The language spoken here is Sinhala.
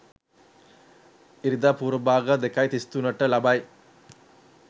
ඉරිදා පූර්වභාග 02.33 ට ලබයි.